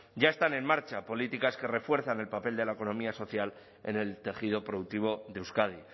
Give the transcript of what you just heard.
ya están en marcha políticas que refuerzan el papel de la economía social en el tejido productivo de euskadi